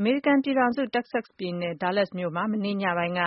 အမေရိကန်ပြည်ထောင်စု၊ တက္ကဆက်စ်ပြည်နယ်၊ ဒါးလက်စ်မြို့မှာ မနေ့ညပိုင်းက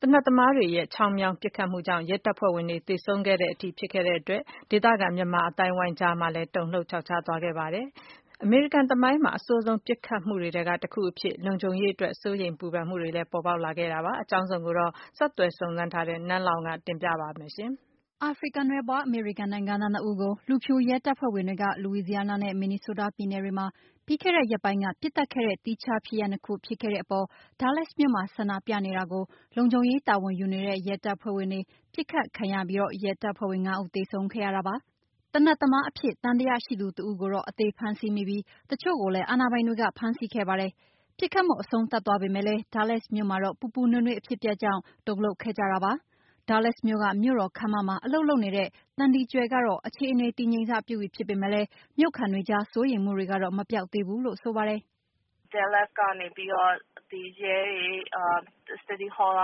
သေနတ်သမားတွေရဲ့ ခြောင်းမြောင်း ပစ်ခတ်မှုကြောင့် ရဲတပ်ဖွဲ့ဝင်တွေ သေဆုံးခဲ့တဲ့အထိ ဖြစ်ခဲ့တဲ့အတွက် ဒေသခံမြန်မာအသိုင်းအဝိုင်းကြား တုန်လှုပ်သွားခဲ့ကြပါတယ်။ အမေရိကန် သမိုင်းမှာ အဆိုးဆုံး ပစ်ခတ်မှုတွေထဲက တခုအဖြစ်၊ လုံခြုံရေးအတွက် စိုးရိမ်မှုတွေလည်း ပေါ်ပေါက်ခဲ့တာပါ။ အကြောင်းစုံကိုတော့ ဆက်သွယ်စုံစမ်းထားတဲ့ နန်းလောဝ် ကတင်ပြထားပါတယ်။ အာဖရိကန်နွယ်ဖွား အမေရိကန်နိုင်ငံသား ၂ ဦးကို လူဖြူရဲတပ်ဖွဲ့ဝင်တွေက လူဝီစီယားနား နဲ့ မင်နီဆိုးတားပြည်နယ်တွေမှာ ပြီးခဲ့တဲ့ရက်ပိုင်းက ပစ်သတ်ခဲ့တဲ့ သီးခြားဖြစ်ရပ်နှစ်ခု ဖြစ်ခဲ့တဲ့အပေါ် ဒါးလက်စ်မြို့မှာ ဆန္ဒပြနေတာကို လုံခြုံရေးတာဝန်ယူနေတဲ့ ရဲတပ်ဖွဲ့ဝင်တွေ ပစ်ခတ်ခံရပြီး ရဲတပ်ဖွဲ့ဝင် ၅ ဦး သေဆုံးခဲ့ရတာပါ။ သေနတ်သမားအဖြစ် သံသယရှိသူ တဦးကိုတော့ အသေဖမ်းဆီးမိပြီး၊ တချို့ကိုလည်း အာဏာပိုင်တွေက ဖမ်းဆီးခဲ့ပါတယ်။ ပစ်ခတ်မှု အဆုံးသတ်သွားပေမဲ့လည်း ဒါးလက်စ်မြို့မှာတော့ ပူပူနွေးနွေး အဖြစ်အပျက်ကြောင့် တုန်လှုပ်ခဲ့ကြတာပါ။ ဒါးလက်စ်မြို့က မြို့တော်ခန်းမမှာ အလုပ်လုပ်နေတဲ့ သန္ဒီကြွယ် ကတော့ အခြေအနေ တည်ငြိမ်စပြုပြီ ဖြစ်ပေမဲ့လည်း မြို့ခံတွေကြား စိုးရိမ်မှုတွေတော့ မပျောက်သေးဘူးလို့ ဆိုပါတယ်။ " ဒါးလက်စ်က ရဲတွေ၊ City Hall က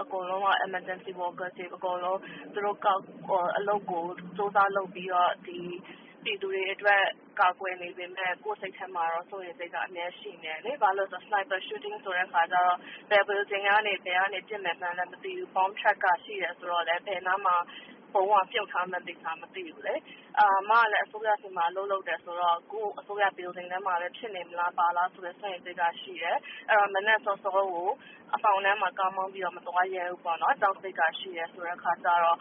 အကုန်လုံးက Emergency Workers တွေ အကုန်လုံးက သူတို့အလုပ်ကို ကြိုးစားလုပ်ပြီးတော့ ပြည်သူတွေအတွက် ကာကွယ်နေပေမဲ့ ကိုယ့်စိတ်ထဲမှာတော့ စိုးရိမ်စိတ်က အမြဲရှိနေတယ်လေ။ ဘာဖြစ်လို့လဲဆိုတော့ Sniper Shooting ဆိုတဲ့အခါကျတော့ ဘယ်Building ကနေ ဘယ်ကနေ ပစ်မယ်မှန်းမသိဘူး။ ဗုံးကလည်း ဘယ်နားမှာ မြုပ်ထားမှန်း မသိဘူးလေ။ အမကလည်း အစိုးရဆီမှာ အလုပ်လုပ်တယ်ဆိုတော့ အခု အစိုးရ Building ထဲမှာပဲ ဖြစ်နေမလား ဘာလားဆိုတဲ့ စိုးရိမ်စိတ်က ရှိတယ်။ မနက်စောစောကို အမှောင်ထဲမှာ ကားမောင်းပြီးတော့ မသွားရဲဘူးပေါ့နော်။ ကြောက်စိတ်က ရှိတယ်ဆိုတဲ့အခါကျတော့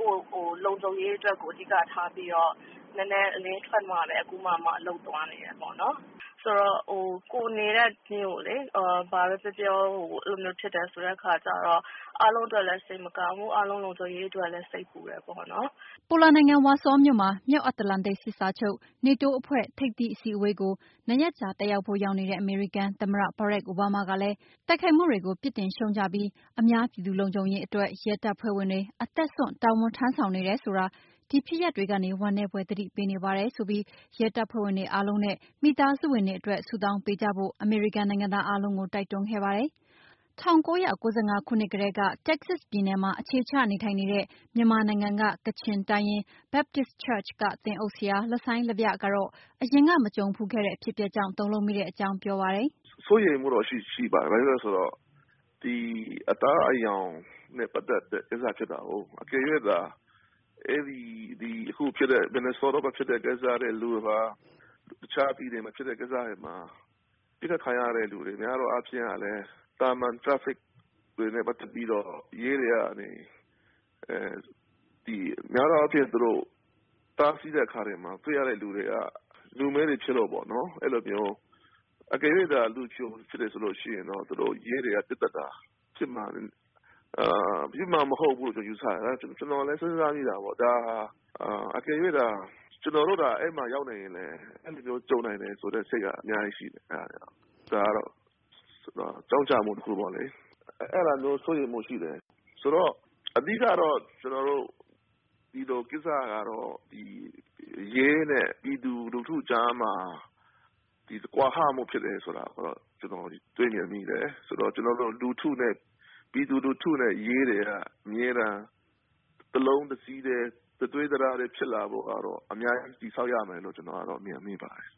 ကိုယ့်လုံခြုံရေးကို အဓိက ထားပြီးတော့ နည်းနည်းအလင်းထွက်မှပဲ အခုမှာမှ အလုပ်သွားနေတယ်ပေါ့နော်။ ဆိုတော့ ကိုယ်နေတဲ့မြို့လေ ဆိုတော့ ဘာပဲပြောပြော အဲ့လိုမျိုး ဖြစ်တယ်ဆိုတော့ အားလုံးအတွက်လည်း စိတ်မကောင်းဘူး။ အားလုံးလုံခြုံရေးအတွက်လည်း စိတ်ပူတယ်ပေါ့နော်။" ပိုလန်နိုင်ငံ၊ ဝါဆောမြို့မှာ မြောက်အတ္တလန္တိတ်စာချုပ် NATO အဖွဲ့ ထိပ်သီး အစည်းအဝေးကို ၂ ရက်ကြာတက်ဖို့ ရောက်နေတဲ့ အမေရိကန် သမ္မတ ဘရာ့ခ် အိုဘားမားကလည်း တိုက်ခိုက်မှုတွေကို ပြစ်တင်ရှုတ်ချပြီး အများပြည်သူ လုံခြုံရေးအတွက် ရဲတပ်ဖွဲ့ဝင်တွေ အသက်စွန့် တာဝန်ထမ်းဆောင်နေတယ်ဆိုတာ ဒီဖြစ်ရပ်တွေကနေ ဝမ်းနည်းဖွယ် သတိပေးနေပါတယ်လို့ဆိုပြီး ဒီရဲတပ်ဖွဲ့ဝင်တွေ အားလုံးနဲ့ မိသားစုဝင်တွေအတွက် ဆုတောင်းပေးကြဖို့ အမေရိကန်နိုင်ငံသား အားလုံးကို တိုက်တွန်းခဲ့ပါတယ်။ ၁၉၉၅ ခုနှစ်ကတည်းက Texas ပြည်နယ်မှာ အခြေချနေထိုင်နေတဲ့ မြန်မာနိုင်ငံက ကချင်တိုင်းရင်း Baptish Church က သင်းအုပ်ဆရာ လဆိုင်းလဗျ ကတော့ အရင်က မကြုံဖူးခဲ့တဲ့ အဖြစ်အပျက်ကြောင့် တုန်လှုပ်မိတဲ့အကြောင်း ပြောပါတယ်။ “စိုးရိမ်မှုတော့ရှိပါတယ်။ ဘာဖြစ်လို့လည်းဆိုတော့ ဒီအသားအရောင်နဲ့ပတ်သက်တဲ့ ကိစ္စဖြစ်တာကိုး၊ အကယ်၍သာအခုဖြစ်တဲ့ မင်နီဆိုးတားမှာဖြစ်တဲ့ ကိစ္စတွေ၊ အခြားပြည်နယ်မှာဖြစ်တဲ့ ကိစ္စတွေမှာ ပစ်ခတ်ခံရတဲ့ လူတွေ များသောအားဖြင့် ကလည်း သာမာန် Traffic တွေနဲ့ ပတ်သက်ပြီးတော့ ရဲတွေကနေ အဲ.. ဒီများသောအားဖြင့် သူတို့တားဆီးတဲ့အခါတွေမှာ တွေ့ရတဲ့သူတွေက လူမည်းတွေဖြစ်လို့ပေါ့နော်။ အဲ့လိုမျိုး။ အကယ်၍သာ လူဖြူသာဖြစ်မယ်ဆိုရင် ရဲတွေက ပစ်သတ်တာဖြစ်မှာ မဟုတ်ဘူးလို့ကျွန်တော် ယူဆတယ်။ ကျွန်တော်လည်း စဉ်းစားမိတာပေါ့၊ ဒါဟာ အကယ်ရွေ့သာ ကျွန်တော်တို့သာ အဲ့ဒီနေရာမှာရောက်နေခဲ့ရင် အဲ့လိုမျိုးကြုံနိုင်တယ်ဆိုတဲ့စိတ်က အများကြီးရှိတယ်။ ဒါကတော့ ကြောင့်ကျမှု တခုပေါ့လေ။ အဲ့တာမျိုးစိုးရိမ်မှုရှိတယ်။ဆိုတော့ အဓိက ကတော့ ကျွန်တော်တို့ ဒီလိုကိစ္စကတော့ ဒီ.. ရဲနဲ့ ပြည်သူလူထုကြားမှာ ကွာဟမှုဖြစ်တယ်ဆိုတာကိုတော့ ကျွန်တော် တွေ့မြင်မိတယ်။ဆိုတော့ လူထုနဲ့ ပြည်သူလူထုနဲ့ ရဲတွေက အမြဲတမ်း တလုံးတစည်းထဲ၊ တသွေးတသားထဲ ဖြစ်ဖို့ကတော့ အများကြီးတည်ဆောက်ရမယ်လို့ ကျွန်တော်မြင်ပါတယ်”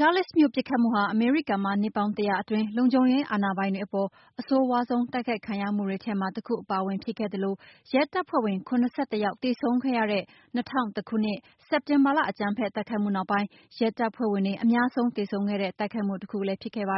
ဒါးလက်စ်မြို့ ပစ်ခတ်မှုဟာ အမေရိကန်မှာ နှစ်ပေါင်း ၁၀၀ အတွင်း လုံခြုံရေးအာဏာပိုင်တွေအပေါ် အဆိုးရွားဆုံး တိုက်ခိုက်ခံရမှုတွေထဲမှာ တခုအပါအဝင် ဖြစ်ခဲ့သလို၊ ရဲတပ်ဖွဲ့ဝင် ၇၁ ယောက် သေဆုံးခဲ့ရတဲ့ ၂၀၀၁ ခုနှစ် စက်တင်ဘာလ အကြမ်းဖက်တိုက်ခိုက်မှုနောက်ပိုင်း ရဲတပ်ဖွဲ့ဝင် အများဆုံး သေဆုံးခဲ့တဲ့ တိုက်ခိုက်မှု တခုလည်း ဖြစ်ခဲ့ပါ